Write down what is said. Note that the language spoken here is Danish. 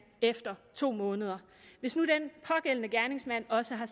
efter to måneder hvis nu den pågældende gerningsmand også har